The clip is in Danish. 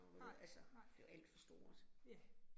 Nej nej, ja